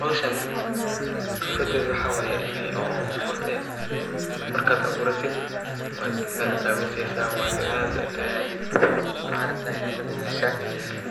Hoshan qaladeda waxaa waye marki aa aburato maxaa waye in aa